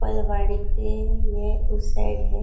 पल्वाडी के ये उस साइड है।